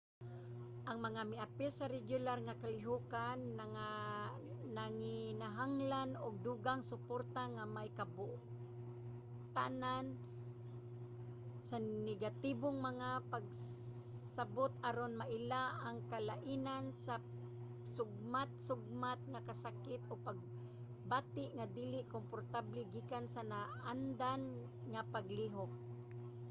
ang mga miapil sa regular nga kalihokan nanginahanglan og dugang suporta nga may kabotanan sa negatibong mga pagsabut aron maila ang kalainan sa sugmat-sugmat nga kasakit ug pagbati nga dili komportable gikan sa naandan nga paglihok